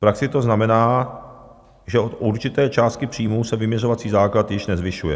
V praxi to znamená, že od určité částky příjmů se vyměřovací základ již nezvyšuje.